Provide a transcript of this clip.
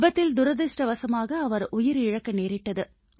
விபத்தில் துரதிர்ஷ்டமாக அவர் உயிர் இழக்க நேரிட்டது